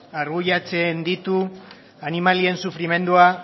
argudiatzen ditu animalien sufrimendua